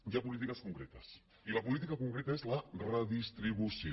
hi ha polítiques concretes i la política concreta és la redistribució